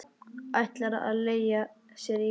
Ætlar að leigja sér íbúð.